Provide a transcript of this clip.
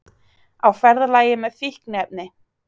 Á ferðalagi með fíkniefni